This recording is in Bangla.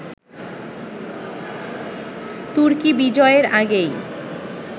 তুর্কী-বিজয়ের আগেই